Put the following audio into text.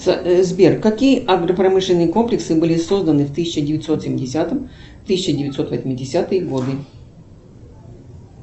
сбер какие агропромышленные комплексы были созданы в тысяча девятьсот семидесятом тысяча девятьсот восьмидесятые годы